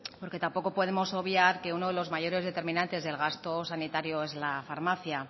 porque tampoco podemos obviar que uno de los mayores determinantes del gasto sanitario es la farmacia